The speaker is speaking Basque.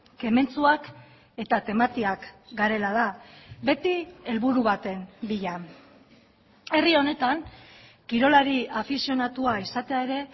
kementsuak eta tematiak garela da beti helburu baten bila herri honetan kirolari afizionatua izatea ere